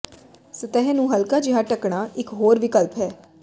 ਸਤਹ ਨੂੰ ਹਲਕਾ ਜਿਹਾ ਢੱਕਣਾ ਇੱਕ ਹੋਰ ਵਿਕਲਪ ਹੈ